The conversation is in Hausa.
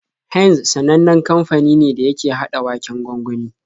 Heinz sanannen kamfani ne da yake haɗa waken gwangwani.